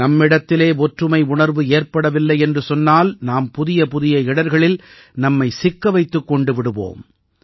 நம்மிடத்திலே ஒற்றுமை உணர்வு ஏற்படவில்லை என்று சொன்னால் நாம் புதியபுதிய இடர்களில் நம்மை சிக்க வைத்துக் கொண்டு விடுவோம்